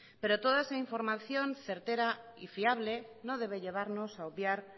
pero toda es información certera y fiable no debe llevarnos a obviar